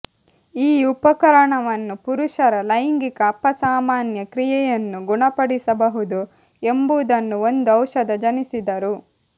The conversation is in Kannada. ಈ ಉಪಕರಣವನ್ನು ಪುರುಷರ ಲೈಂಗಿಕ ಅಪಸಾಮಾನ್ಯ ಕ್ರಿಯೆಯನ್ನು ಗುಣಪಡಿಸಬಹುದು ಎಂಬುದನ್ನು ಒಂದು ಔಷಧ ಜನಿಸಿದರು